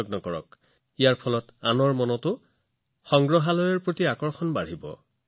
এনে কৰাৰ দ্বাৰা আপুনি আনৰ মনত সংগ্ৰহালয়ৰ বিষয়েও কৌতূহল জাগ্ৰত কৰিব পাৰিব